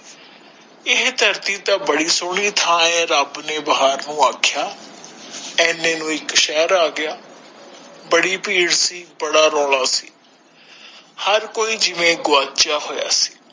ਏਹ ਧਰਤੀ ਤਾ ਬੜੀ ਸਹੋਣੀ ਥਾਂ ਹੈ ਰਬ ਨੇ ਬਾਹਰੋ ਆਖਯਾ ਏਨੇ ਨੂੰ ਇਕ ਸ਼ਹਿਰ ਆਗਯਾ ਬੜੀ ਭੀੜ ਸੀ ਬੜਾ ਰੌਲਾ ਸੀ ਹਰ ਕੋਈ ਜਿਵੇ ਗਵਾਚਯਾ ਹੋਯਾ ਸੀ